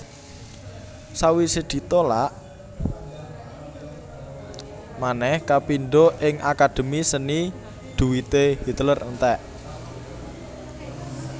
Sawisé ditolak manèh kapindho ing Akademi Seni dhuwité Hitler entèk